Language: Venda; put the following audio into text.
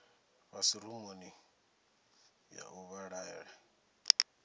fhasi rumuni ya u vhalela